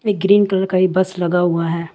Green colour का भी bus लगा हुआ है।